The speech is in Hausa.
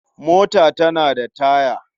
Mota tana da taya.